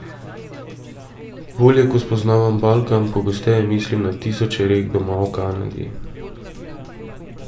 Bolj ko spoznavam Balkan, pogosteje mislim na tisoče rek doma v Kanadi.